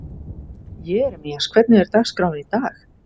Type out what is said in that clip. Jeremías, hvernig er dagskráin í dag?